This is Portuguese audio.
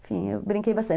Enfim, eu brinquei bastante.